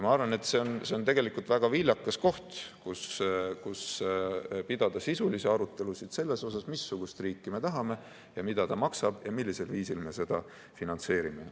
Ma arvan, et see on tegelikult väga viljakas koht, kus pidada sisulisi arutelusid selle üle, missugust riiki me tahame, mida see maksab ja millisel viisil me seda finantseerime.